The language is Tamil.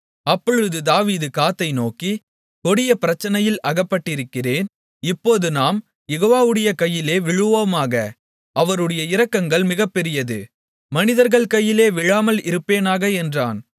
அப்பொழுது தாவீது காத்தை நோக்கி கொடிய பிரச்சனையில் அகப்பட்டிருக்கிறேன் இப்போது நாம் யெகோவாவுடைய கையிலே விழுவோமாக அவருடைய இரக்கங்கள் மிகப்பெரியது மனிதர்கள் கையிலே விழாமல் இருப்பேனாக என்றான்